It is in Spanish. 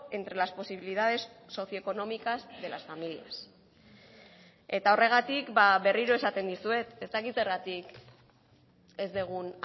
entre las posibilidades socioeconómicas de las familias eta horregatik berriro esaten dizuet ez dakit zergatik ez dugun